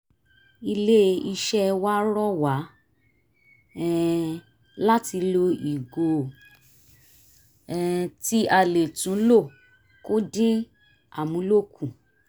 ilé-iṣẹ́ wa rọ wá um láti lo ìgò um tí a lè tún lò kó dín amúlò kù